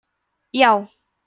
já